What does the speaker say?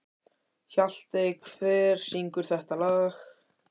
Hjaltey, hver syngur þetta lag?